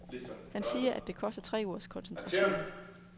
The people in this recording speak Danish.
Han siger, at det koster tre ugers koncentration.